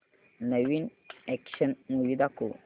नवीन action movie दाखव